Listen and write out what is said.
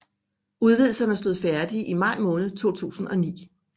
Udvidelserne stod færdige i maj måned 2009